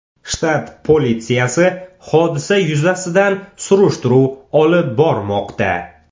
Shtat politsiyasi hodisa yuzasidan surishtiruv olib bormoqda.